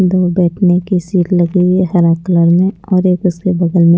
दो बैठने की सीट लगी हुई है हरा कलर में और एक उसके बगल में--